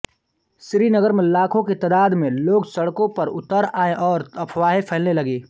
श्रीनगर में लाखों की तादाद में लोग सड़को पर उतर आये और अफ़वाहें फैलने लगीं